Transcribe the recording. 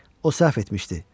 O səhv etmişdi.